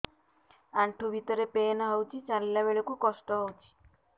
ଆଣ୍ଠୁ ଭିତରେ ପେନ୍ ହଉଚି ଚାଲିଲା ବେଳକୁ କଷ୍ଟ ହଉଚି